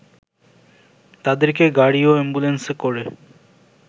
তাদেরকে গাড়ি ও অ্যাম্বুলেন্সে করে